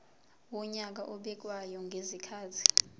wonyaka obekwayo ngezikhathi